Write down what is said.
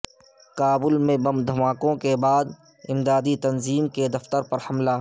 کابل میں بم دھماکوں کے بعد امدادی تنظیم کے دفتر پر حملہ